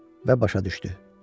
Və başa düşdü.